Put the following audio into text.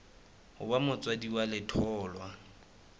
ho ba motswadi wa letholwa